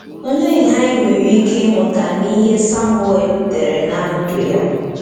Olee ihe anyị nwere ike ịmụta n’ihe Samuel dere na ndụ ya?